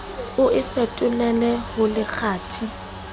o e fetolele ho lekgathe